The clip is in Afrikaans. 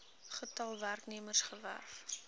getal werknemers gewerf